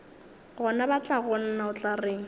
gona batlagonna o tla reng